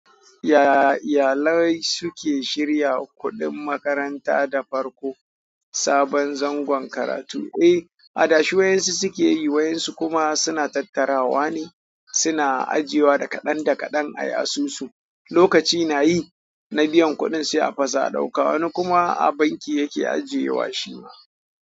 Ya iyalai suke shirya kuɗin makaranta da farko, sabon zangon karatu. Eh, adashe wayansu suke yi, wayansu kuma suna tattarawa ne, suna ajiyewa da kaɗan da kaɗan ayi asusu. Lokaci na yi na biyan kuɗin sai a fasa a ɗauka. Wani kuma a banki yake ajiyewa shi ma.